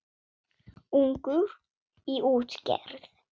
Ungur í útgerð